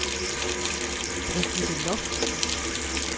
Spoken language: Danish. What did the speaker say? Brigitte Loft